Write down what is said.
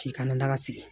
K'i kana daga sigi